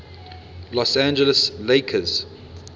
los angeles lakers